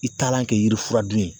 I taalan kɛ yirifuradun ye